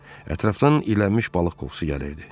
Ətrafdan iylənmiş balıq qoxusu gəlirdi.